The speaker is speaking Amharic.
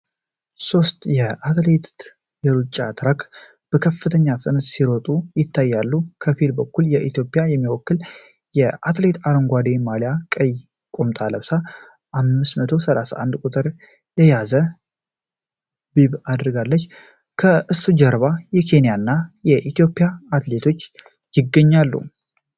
ሦስት አትሌቶች በአትሌቲክስ የሩጫ ትራክ ላይ በከፍተኛ ፍጥነት ሲሮጡ ይታያሉ። ከፊት በኩል ኢትዮጵያን የሚወክል አትሌት አረንጓዴ ማሊያና ቀይ ቁምጣ ለብሶ "531" ቁጥር የያዘ ቢብ አድርጓል። ከእሱ ጀርባ የኬንያና ሌላ የኢትዮጵያ አትሌቶች ይገኛሉ።